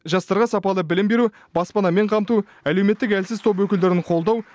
жастарға сапалы білім беру баспанамен қамту әлеуметтік әлсіз топ өкілдерін қолдау